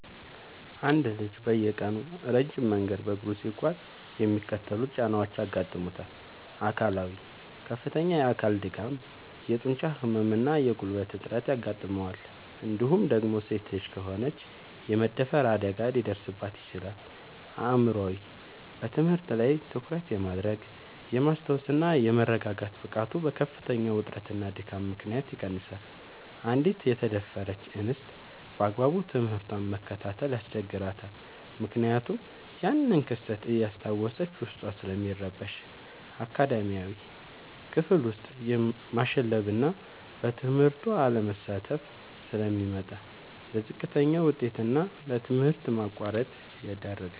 አንድ ልጅ በየቀኑ ረጅም መንገድ በእግሩ ሲጓዝ የሚከተሉት ጫናዎች ያጋጥሙታል፦ አካላዊ፦ ከፍተኛ የአካል ድካም፣ የጡንቻ ህመም እና የጉልበት እጥረት ያጋጥመዋል እንዲሁም ደግሞ ሴት ልጅ ከሆነች የመደፈር አደጋ ሊደርስባት ይችላል። አእምሯዊ፦ በትምህርት ላይ ትኩረት የማድረግ፣ የማስታወስ እና የመረጋጋት ብቃቱ በከፍተኛ ውጥረትና ድካም ምክንያት ይቀንሳል: አንዲት የተደፈረች እንስት ባግባቡ ትምህርቷን መከታተል ያስቸግራታል ምክንያቱም ያንን ክስተት እያስታወሰች ዉስጧ ስለሚረበሽ። አካዳሚያዊ፦ ክፍል ውስጥ ማሸለብና በትምህርቱ አለመሳተፍ ስለሚመጣ: ለዝቅተኛ ውጤት እና ለትምህርት ማቋረጥ ይዳረጋል።